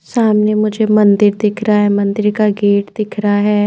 सामने मुझे मंदिर दिख रहा है मंदिर का गेट दिख रहा है।